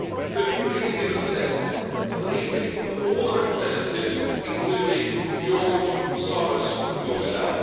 Could you please give us a list of the meetings of all the representatives, including George Soros, yourself.'